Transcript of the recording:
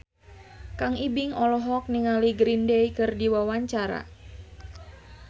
Kang Ibing olohok ningali Green Day keur diwawancara